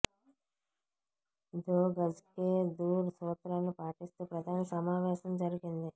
దో గజ్కే దూర్ సూత్రాన్ని పాటిస్తూ ప్రధాని సమావేశం జరిగింది